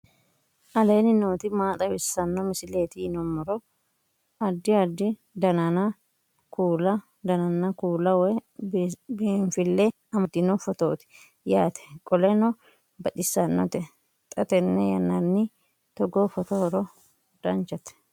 aleenni nooti maa xawisanno misileeti yinummoro addi addi dananna kuula woy biinsille amaddino footooti yaate qoltenno baxissannote xa tenne yannanni togoo footo haara danvchate